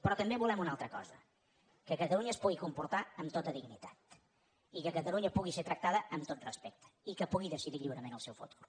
però també volem una altra cosa que catalunya es pu·gui comportar amb tota dignitat i que catalunya pugui ser tractada amb tot respecte i que pugui decidir lliu·rement el seu futur